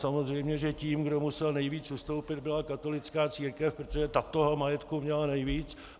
Samozřejmě tím, kdo musel nejvíc ustoupit, byla katolická církev, protože ta toho majetku měla nejvíc.